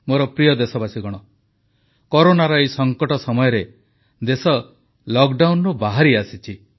ମୋର ପ୍ରିୟ ଦେଶବାସୀଗଣ କରୋନାର ଏହି ସଙ୍କଟ ସମୟରେ ଦେଶ ଲକଡାଉନରୁ ବାହାରି ଆସିଛି